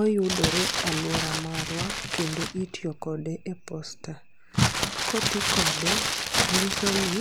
Oyudore aluora marwa kendo itiyo kode e posta. Koti kode nyiso ni